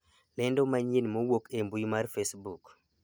lendo manyien mowuok e mbui mar facebook